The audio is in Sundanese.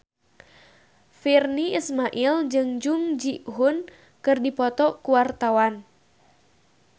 Virnie Ismail jeung Jung Ji Hoon keur dipoto ku wartawan